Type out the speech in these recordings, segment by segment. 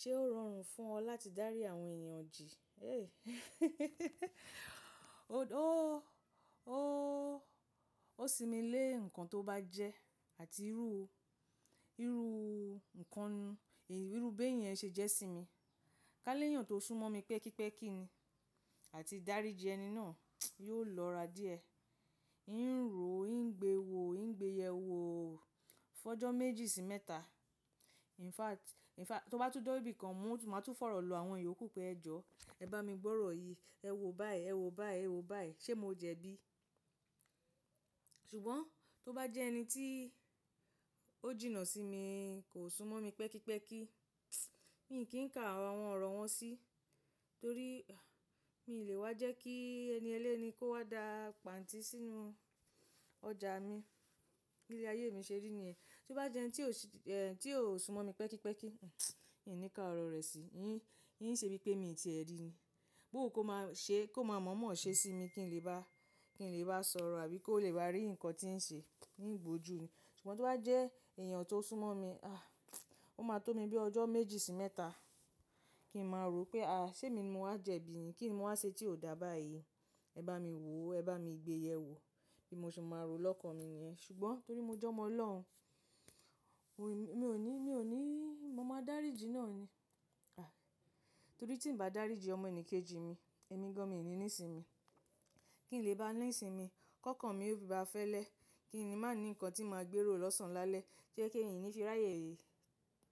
Ṣé ó rọrùn fún ọ láti dárí àwọn èèyàn jì? Ó símilé nǹkan tó bá jẹ́ àti irú nǹkan, irúb éyan ṣe jẹ́ sí mi. Kálé yàn tó súnmọ́ mi pẹ́kípẹ́kí ni àti dáríjì ẹni náà yóò lọ́ra díẹ̀. Ǹ rò ó, ń gbe wo ó, ń gbe yẹ wò ó fọjọ́ méjì sí mẹ́ta. In fact, tó bá tún de ibìkan, mo máa tún fọ̀rọ̀ lọ àwọn iyo kú pé ẹjọ́, ẹ bá mi gbọ́rọ̀ yìí, ẹ wò ó báyìí, ẹ wò ó báyìí, ẹ wò ó báyìí, ṣé mo jẹ bí? Ṣùgbọ́n tó bá jẹ́ ẹni tí ó jìnnà sí mi, kò súnmọ́ mi pẹ́kípẹ́kí, mi kì í ka àwọn ọ̀rọ̀ wọn sí, torí mi ò le wá jẹ́ kí ẹni ẹlẹ́ni kó wá dà pàǹtí sínú ọjà mi. Ilé ayé mi ṣe rí ni ẹ. Tó bá jẹ́ ẹni tí ò súnmọ́ mi pẹ́kípẹ́kí, mi ò ní ka ọ̀rọ̀ rẹ̀ sí. N ṣe bí pé mi ò tí ẹ rí ni. Bóò wun kó má mọ̀ mọ̀ ṣe sí mi kí n lè bá sọ̀rọ̀ àbí kó lè wá rí nǹkan tí ń ṣe, ń gbojú ni. Ṣùgbọ́n tó bá jẹ́ èèyàn tó súnmọ́ mi, a! Ó máa tó mi bí ọjọ́ méjì sí mẹ́ta kí n máa rò ó pé a! Ṣé mi ni mo wá jẹ bí ni? Kí ni mo wá ṣe tí ò dà báyìí? Ẹ bá mi wò ó, ẹ bá mi gbe yẹ wò ó bí mo ṣe máa rò lọ́kan mi ni yẹn. Ṣùgbọ́n torí mo jẹ́ ọmọ ọlọ́run, mi ò ní, mo máa dáríjì náà ni. Torí tí ń bá dáríjì ọmọ ẹnì kejì mi, ẹ̀mí gan mi ni nísin mi. Kí n lè bá nísimi kọ́kàn mi o fi bá fẹ́lẹ́. Kí ni màá ní nǹkan tí màá gbérò lọ́sàn án lálẹ́ tí ẹ kí ẹ̀yin yí fi ráyè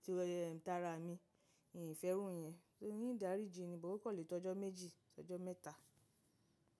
tìrò ẹ̀yẹ ńtara mi. N fe irú yẹn. To n dáríjì ni, bó o kò lè tó ọjọ́ méjì sí ọjọ́ mẹ́ta.